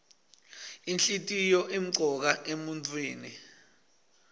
inhlitiyoo imcoka emuntfwini